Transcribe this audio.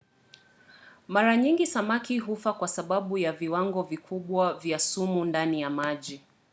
mara nyingi samaki hufa kwa sababu ya viwango vikubwa vya sumu ndani ya maji